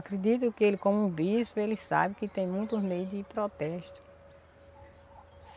Acredito que ele, como um bispo, ele sabe que tem muitos meios de protesto.